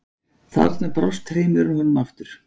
Þarna brást hreimurinn honum aftur.